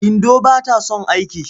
Indo ba ta son aiki.